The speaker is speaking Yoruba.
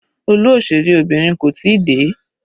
Olú òṣèré Obìnrin kò tíì dé.